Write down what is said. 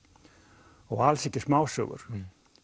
og alls ekki smásögur